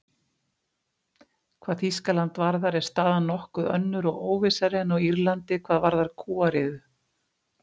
Hvað Þýskaland varðar er staðan nokkuð önnur og óvissari en á Írlandi hvað varðar kúariðu.